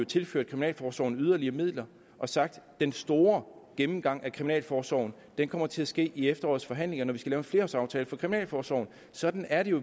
tilført kriminalforsorgen yderligere midler og sagt at den store gennemgang af kriminalforsorgen kommer til at ske i efterårets forhandlinger når vi skal lave en flerårsaftale for kriminalforsorgen sådan er det jo